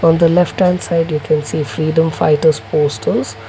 on the left hand side we can see freedom fighters poster.